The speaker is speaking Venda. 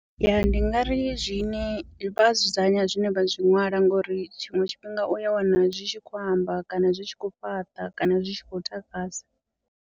Yaa ndi ngari zwine vha dzudzanya zwine vha zwi ṅwala ngori tshiṅwe tshifhinga u ya wana zwi tshi khou amba kana zwi tshi khou fhaṱa kana zwi tshi khou takadza.